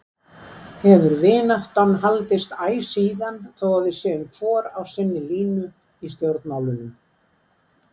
Hefur vináttan haldist æ síðan þó að við séum hvor á sinni línu í stjórnmálunum.